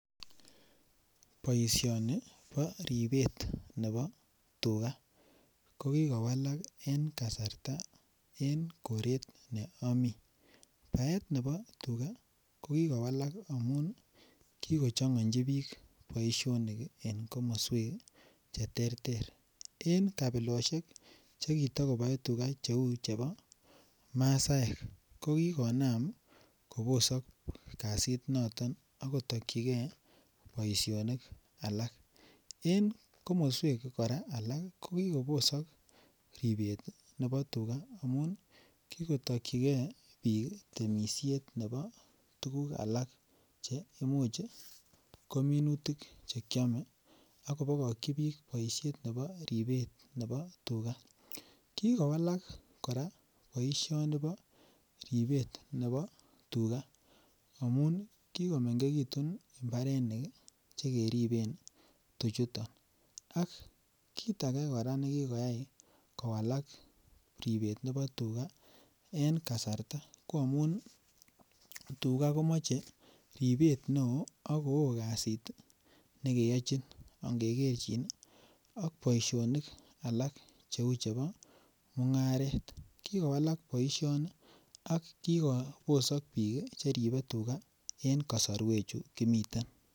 Boisioni bo ripet nebo tuga ko kikowalak en kasarta en koret ne omii baet nebo tuga ko kikowalak amun kigochongoji biik boisionik ii en komoswek che terter en kabiloshek che kiti kobore tuga che uu chebo masaek ko kikonam kobosok kazit noton ak kotokyigee boisionik alak. En komoswek koraa alak ii ko kikobosok ripet nebo tuga amun kikotokyigee biik temisiet nebo tuguk alak che imuch ko minutik che kyome ako bogokyi biik boishet nebo ripet nebo tuga. Kikowalak koraa boisioni nebo ribet nebo tuga amun kikomengekitun mbarenik ii che keriben tuchuton ak kiit age koraa me kikoyay Kowalak ripet nebo tuga en kasarta ko amun tuga komoche ribet ne oo ak ko oo kazit ii nejeyochin age kerchin ii ak boisionik alak che uu chebo mungaret. Kikowalak boisioni ak kikobosok biik che ribee tuga en kosorwek chu kimiten